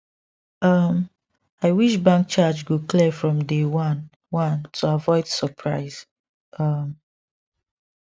um i wish bank charge go clear from day one one to avoid surprise um